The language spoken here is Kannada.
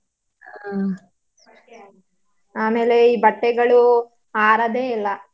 ಹ್ಮ್ ಆಮೇಲೆ ಈ ಬಟ್ಟೆಗಳು ಆರದೇ ಇಲ್ಲ.